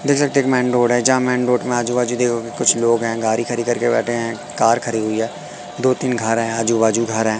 देख सकते है एक मेन रोड है जहां मेन रोड में आजू बाजू कुछ लोग है गाड़ी खड़ी कर के बैठे है कार खड़ी हुई हैं दो तीन घर है आजू बाजू घर है।